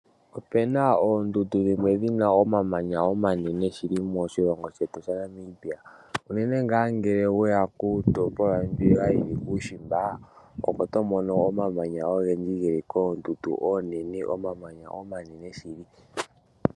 Opena oondundu dhimwe dhina omamanya omanene shili moshilongo shetu shaNamibia. Unene nga ngele weya kiitopolwa mbi yili kuushimba, oko tomono omamanya ogendji, geli koondundu oonene, omamanya omanene shili.